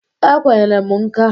E kwenyere m nka.